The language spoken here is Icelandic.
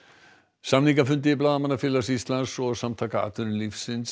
samningafundi Blaðamannafélags Íslands og Samtaka atvinnulífsins